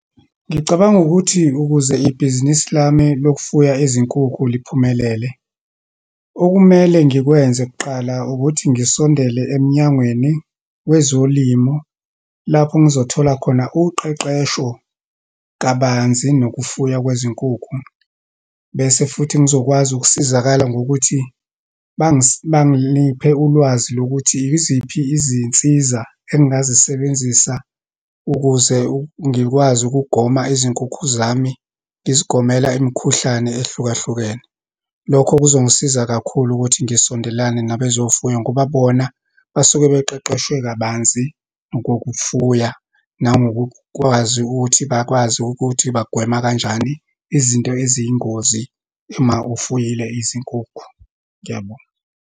Ngicabanga ukuthi ukuze ibhizinisi lami lokufuya izinkukhu liphumelele. Okumele ngikwenze kuqala ukuthi ngisondele emnyangweni wezolimo, lapho ngizothola khona uqeqesho kabanzi nokufuya kwezinkukhu. Bese futhi ngizokwazi ukusizakala ngokuthi bangiliphe ulwazi lokuthi iziphi izinsiza engingazisebenzisa ukuze ngikwazi ukugoma izinkukhu zami, ngizigomela imikhuhlane ehlukahlukene. Lokho kuzongisiza kakhulu ukuthi ngisondelana nabezofuya, ngoba bona basuke beqeqeshwe kabanzi ngokufuya, nangokukwazi ukuthi bakwazi ukuthi bagweme kanjani izinto eziyingozi, uma ufuyile izinkukhu. Ngiyabonga.